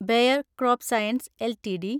bear CropScience LTD